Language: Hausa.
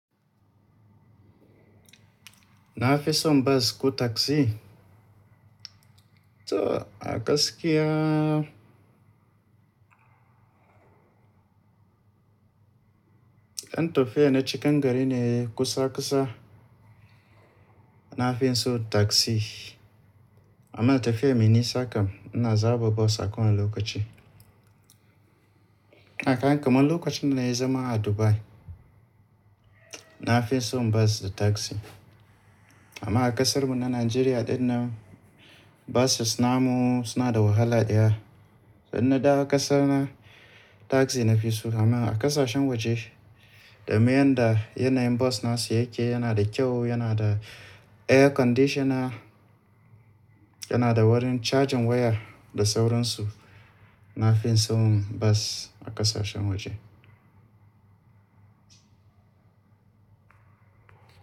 Na fi son bas ko taxi? To a gaskiya, in tofiya na cikin gari ne kusa kusa, na fi son taxi amma tafiyar mai nisa kam ina zaba bas a kowane lokaci. Kaga kaman lokacin da na yi zama a Dubai. Na fi son bas da taxi. Amma a kasar mu na Najeriya ɗin nan buses namu suna da wahala ɗaya. To in na dawo kasa na, taxi na fi so amma a ƙasashen waje, domin yanda yanayin bas na su yake yana da kyau, yana da air conditioner, yana da wurin charging waya da sauransu. Na fi son bas a ƙasashen waje.